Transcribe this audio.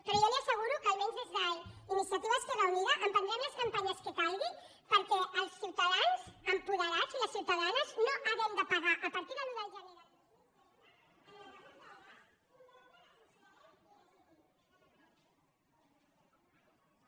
però jo li asseguro que almenys des d’iniciativa · esquerra unida emprendrem les campanyes que cal·guin perquè els ciutadans apoderats i les ciutadanes no hàgim de pagar a partir de l’un de gener del dos mil trenta en el rebut del gas un deute que